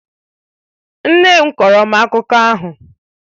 Nne m kọọrọ m akụkọ ahụ.